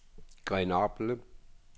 Grenoble